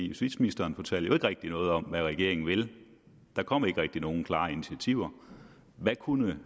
justitsministeren fortalte rigtig noget om hvad regeringen vil der kom ikke rigtig nogen klare initiativer hvad kunne